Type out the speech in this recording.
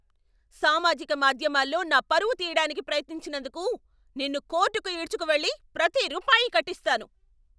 సామాజిక మాధ్యమాల్లో నా పరువు తీయడానికి ప్రయత్నించినందుకు నిన్ను కోర్టుకు ఈడ్చుకు వెళ్లి ప్రతి రూపాయి కట్టిస్తాను.